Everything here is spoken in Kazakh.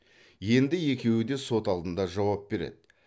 енді екеуі де сот алдында жауап береді